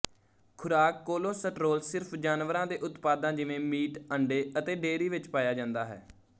ਖੁਰਾਕ ਕੋਲੇਸਟ੍ਰੋਲ ਸਿਰਫ ਜਾਨਵਰਾਂ ਦੇ ਉਤਪਾਦਾਂ ਜਿਵੇਂ ਮੀਟ ਅੰਡੇ ਅਤੇ ਡੇਅਰੀ ਵਿੱਚ ਪਾਇਆ ਜਾਂਦਾ ਹੈ